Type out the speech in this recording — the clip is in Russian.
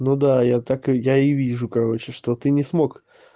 ну да я так я и вижу короче что ты не смог